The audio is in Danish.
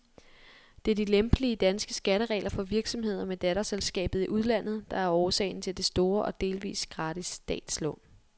Det er de lempelige, danske skatteregler for virksomheder med datterselskaber i udlandet, der er årsagen til det store og delvis gratis statslån.